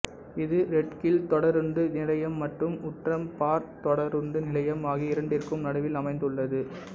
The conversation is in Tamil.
இது ரெட்ஹில் தொடருந்து நிலையம் மற்றும் ஊட்ரம் பார்க் தொடருந்து நிலையம் ஆகிய இரண்டிற்கும் நடுவில் அமைந்துள்ளது